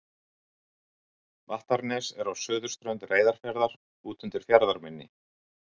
vattarnes er á suðurströnd reyðarfjarðar úti undir fjarðarmynni